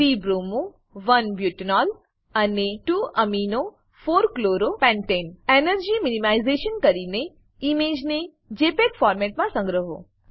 3 bromo 1 butanol અને 2 amino 4 chloro પેન્ટને energy minimisation કરીને ઈમેજને જેપીઇજી ફોર્મેટમાં સંગ્રહો